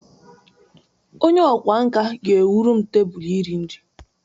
Onye ọkwá nkà ga-ewuru m tebụl iri nri